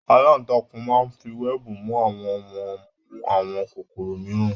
aláǹtakùn máa ń fi wẹẹbu mu àwọ̀n wọn mú àwọn kòkòrò mìíràn